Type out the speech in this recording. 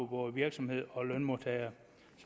både virksomhed og lønmodtagere